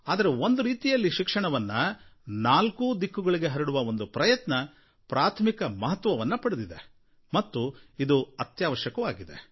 ಅಂದ್ರೆ ಒಂದು ರೀತಿಯಲ್ಲಿ ಶಿಕ್ಷಣವನ್ನು ನಾಲ್ಕೂ ದಿಕ್ಕುಗಳಿಗೆ ಹರಡುವ ಒಂದು ಪ್ರಯತ್ನ ಪ್ರಾಥಮಿಕ ಮಹತ್ವವನ್ನು ಪಡೆದಿದೆ ಮತ್ತು ಇದು ಅತ್ಯವಶ್ಯಕವಾಗಿದೆ